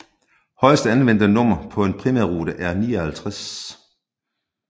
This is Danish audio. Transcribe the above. Højeste anvendte nummer på en primærrute er 59